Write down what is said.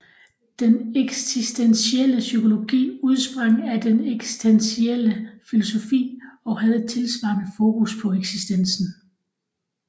Den eksistentielle psykologi udsprang af den eksistentielle filosofi og havde et tilsvarende fokus på eksistensen